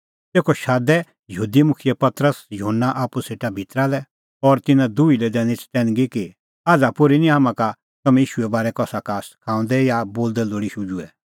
तेखअ शादै यहूदी मुखियै पतरस और युहन्ना आप्पू सेटा भितरा लै और तिन्नां दुही लै दैनी चतैनगी कि आझ़ा पोर्ही निं हाम्हां का तम्हैं ईशूए बारै कसा का सखाऊंदै या बोलदै लोल़ी शुझुऐ